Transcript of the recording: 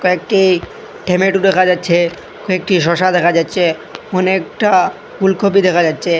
কয়েকটি টমেটু দেখা যাচ্চে কয়েকটি শসা দেখা যাচ্চে অনেকটা ফুলকপি দেখা যাচ্চে।